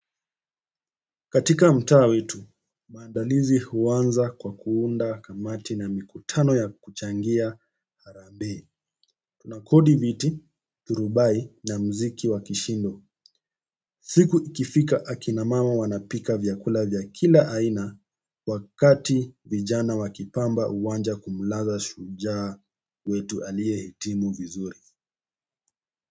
Katika mtaa wetu, maandalizi huanza kwa kuunda kamati na mikutano ya kuchangia harambee. Tunakodi viti, thurubai na muziki wa kishindo. Siku ikifika akina mama wanapika vyakula vya kila aina wakati vijana wakipamba uwanja kumlaza shujaa wetu aliye hitimu vizuri.